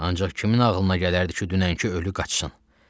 Ancaq kimin ağlına gələrdi ki, dünənki ölü qaçsın?